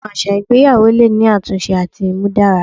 Awọn aṣa igbeyawo le ni atunṣe ati imudara